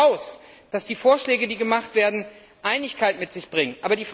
Das setzt voraus, dass die Vorschläge, die gemacht werden, Einigkeit mit sich bringen.